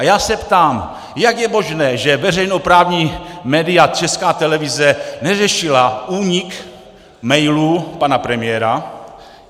A já se ptám, jak je možné, že veřejnoprávní média, Česká televize neřešila únik mailů pana premiéra.